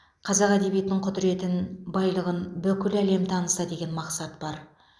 қазақ әдебиетінің құдыретін байлығын бүкіл әлем таныса деген мақсат бар